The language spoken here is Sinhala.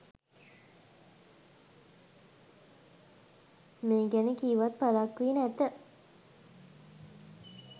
මේ ගැන කීවත් පළක් වී නැත